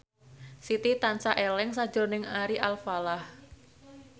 Siti tansah eling sakjroning Ari Alfalah